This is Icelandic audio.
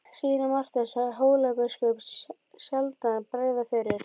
Síra Marteinn sá Hólabiskupi sjaldan bregða fyrir.